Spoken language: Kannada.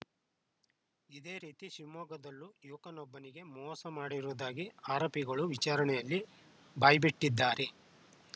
ಇದೇ ರೀತಿ ಶಿವಮೊಗ್ಗದಲ್ಲೂ ಯುವಕನೊಬ್ಬನಿಗೆ ಮೋಸ ಮಾಡಿರುವುದಾಗಿ ಆರೋಪಿಗಳು ವಿಚಾರಣೆಯಲ್ಲಿ ಬಾಯ್ಬಿಟ್ಟಿದ್ದಾರೆ